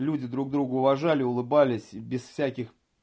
люди друг друга уважали улыбались без всяких